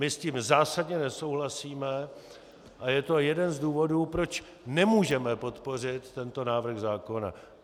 My s tím zásadně nesouhlasíme a je to jeden z důvodů, proč nemůžeme podpořit tento návrh zákona.